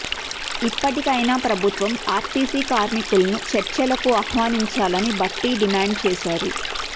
ఇప్పటికైనా ప్రభుత్వం ఆర్టీసీ కార్మికులను చర్చలకు ఆహ్వానించాలని భట్టి డిమాండ్ చేశారు